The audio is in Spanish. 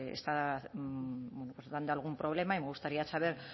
está dando algún problema y me gustaría saber